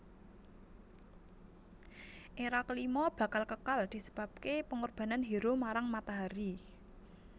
Era kelima bakal kekal disebabke pengorbanan hero marang matahari